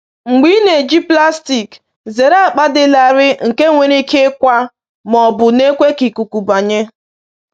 Mgbe ị na-eji plastik, zere akpa dị larịị nke nwere ike ịkwa ma ọ bụ na-ekwe ka ikuku banye.